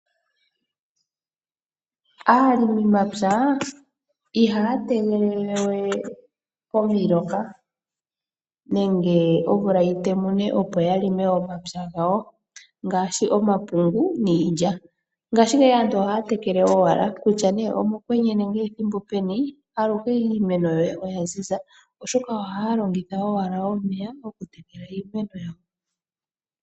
Aalimi mapya ihaya tegelele wee omiloka nenge omvula yitemune opo ya longe momapya gawo ngaashi omapungu niilya. Ngaashingeyi aantu ohaya tekele owala kutya ne omo kwenye nenge ethimbo peni ,aluhe iimeno yoye oya ziza oshoka haya longitha owala omeya gokutekela iimeno yawo.